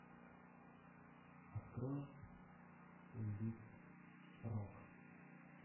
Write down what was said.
открой плей лист рок